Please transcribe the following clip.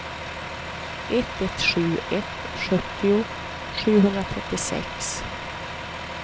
ett ett sju ett sjuttio sjuhundratrettiosex